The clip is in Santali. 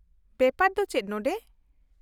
-ᱵᱮᱯᱟᱨ ᱫᱚ ᱪᱮᱫ ᱱᱚᱸᱰᱮ ?